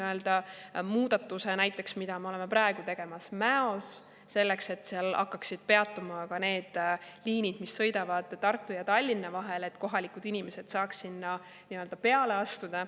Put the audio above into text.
Sellise muudatuse näiteks on see, mida me oleme praegu tegemas Mäos, selleks et seal hakkaksid peatuma ka need, mis sõidavad Tartu ja Tallinna vahel, et kohalikud inimesed saaks sinna peale astuda.